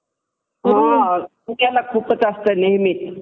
हा ते आहे. हा हा माझं हि तेच मत आहे कि जसं कि आपण लोक्कानी लोकांनी म्हणजे पोरांनी शिकल पाहिजे.